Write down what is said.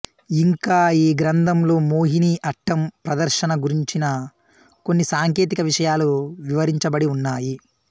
ఇంకా ఈ గ్రంథంలో మోహిని అట్టం ప్రదర్శన గురించిన కొన్ని సాంకేతిక విషయాలు వివరించబడి ఉన్నాయి